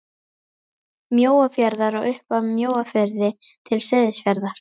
Mjóafjarðar og upp af Mjóafirði til Seyðisfjarðar.